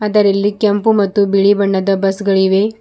ಆದರಿಲ್ಲಿ ಕೆಂಪು ಮತ್ತು ಬಿಳಿ ಬಣ್ಣದ ಬಸ್ ಗಳಿವೆ.